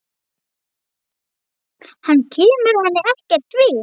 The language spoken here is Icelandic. Hann kemur henni ekkert við.